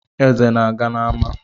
Eze ọ na-aga n’ama?